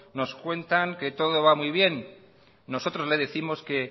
nos cuentan que todo va muy bien nosotros le décimos que